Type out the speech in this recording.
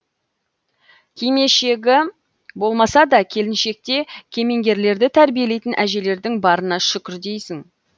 кимешегі болмаса да келіншекте кемеңгерлерді тәрбиелейтін әжелердің барына шүкір дейсің